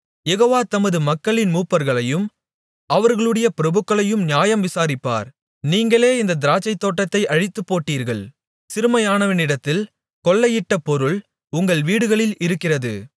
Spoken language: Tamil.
யெகோவா தமது மக்களின் மூப்பர்களையும் அவர்களுடைய பிரபுக்களையும் நியாயம் விசாரிப்பார் நீங்களே இந்தத் திராட்சைத்தோட்டத்தை அழித்துப்போட்டீர்கள் சிறுமையானவனிடத்தில் கொள்ளையிட்ட பொருள் உங்கள் வீடுகளில் இருக்கிறது